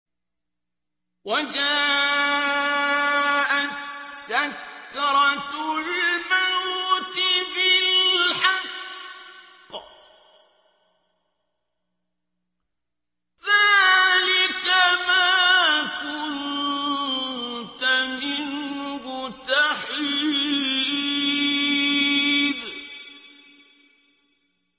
وَجَاءَتْ سَكْرَةُ الْمَوْتِ بِالْحَقِّ ۖ ذَٰلِكَ مَا كُنتَ مِنْهُ تَحِيدُ